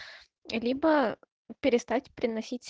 либо перестать приносить